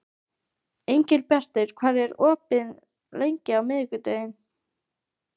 Engilbjartur, hvað er opið lengi á miðvikudaginn?